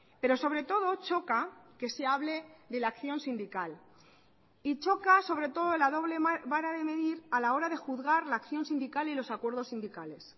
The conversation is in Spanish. pero sobre todo choca que se hable de la acción sindical y choca sobre todo la doble vara de medir a la hora de juzgar la acción sindical y los acuerdos sindicales